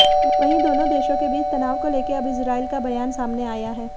वहीं दोनों देशों के बीच तनाव को लेकर अब इजरायल का बयान सामने आया है